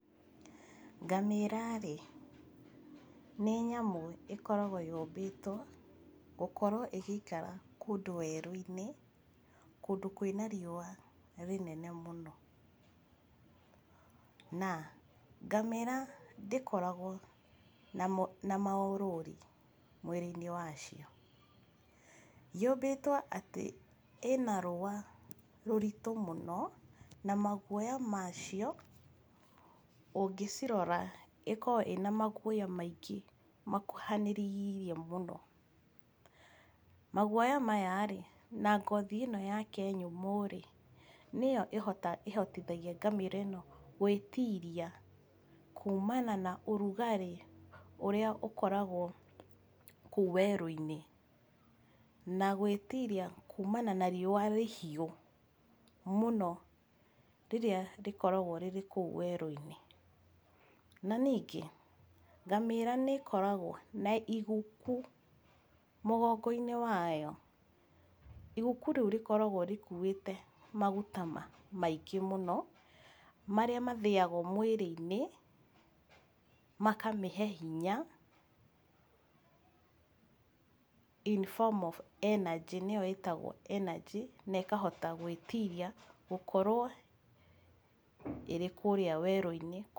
Ngamĩra-rĩ nĩ nyamũ ĩkoragwo yũmbĩtwo gũkorwo ĩgĩikara kũndũ werũ-inĩ, kũndũ kwĩna riũa rĩnene mũno, na ngamĩra ndĩkoragwo ĩna maũrũri mwĩrĩ-inĩ wacio. Yũmbĩtwo atĩ ĩna rũa rũritũ mũno na maguoya macio, ũngĩcirora ĩkoragwo ĩna maguoya maingĩ makuhanĩrĩiirie mũno. Maguoya maya-rĩ, na ngothi ĩno yake nyũmũ-rĩ, nĩyo ĩhotithagia ngamĩra ĩno gwĩtiria kumana na ũrugarĩ ũrĩa ũkoragwo kũu werũ-inĩ, na gwĩtiria kumana na riũa rĩhiũ mũno rĩrĩa rĩkoragwo rĩrĩ kũu werũ-inĩ, na ningĩ ngamĩra nĩĩkoragwo na iguku mũgongo-inĩ wayo. Iguku rĩu rĩkoragwo rĩkuĩte maguta maingĩ mũno, marĩa mathĩagwo mwĩrĩ-inĩ, makamĩhe hinya in form of energy nĩyo ĩtagwo energy na ĩkahota gwĩtiria gũkorwo ĩrĩ kũrĩa werũ-inĩ.